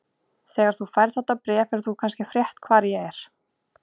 Þegar þú færð þetta bréf hefur þú kannski frétt hvar ég er.